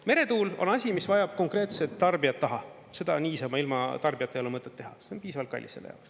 Meretuul on asi, mis vajab konkreetset tarbijat taha, seda niisama, ilma tarbijata ei ole mõtet teha, see on piisavalt kallis.